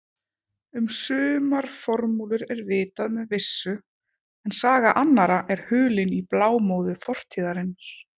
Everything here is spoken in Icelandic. Um sumar formúlur er vitað með vissu en saga annarra er hulin í blámóðu fortíðarinnar.